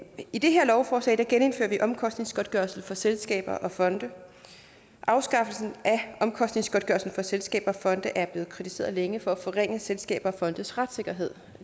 i det her lovforslag genindfører vi omkostningsgodtgørelse for selskaber og fonde afskaffelsen af omkostningsgodtgørelsen for selskaber og fonde er blevet kritiseret længe for at forringe selskabers og fondes retssikkerhed